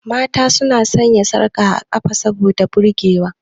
Mata su na sanya sarka a ƙafa saboda burge wa.